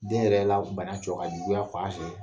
Den yɛrɛ la bana cɔ ka juguya ka wa fɛ